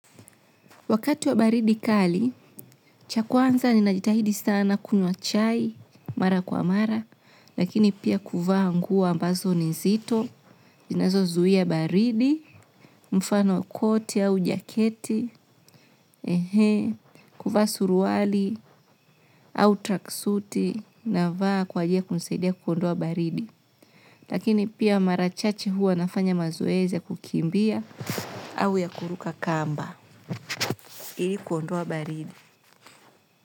Wakati wa baridi kali, cha kwanza ni najitahidi sana kunywa chai, mara kwa mara, lakini pia kuvaa nguo ambazo ni nzito, zinazo zuia baridi, mfano koti au jaketi, kuvaa suruali, au tracksuti, na vaa kwa jili ya kunisaidia kuondoa baridi. Lakini pia mara chache huwa nafanya mazoezi ya kukimbia, au ya kuruka kamba, ili kuondoa baridi.